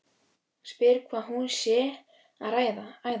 Spyr hvað hún sé að æða.